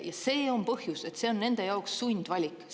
Ja see on põhjus, et see on nende jaoks sundvalik.